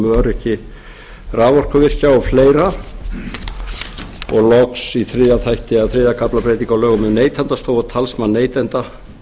á löggjöf um öryggi raforkuvirkja og fleiri og loks í þriðja kafla breyting á lögum um neytendastofu og talsmann neytanda